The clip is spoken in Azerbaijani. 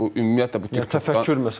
Bu ümumiyyətlə təfəkkür məsələsidir.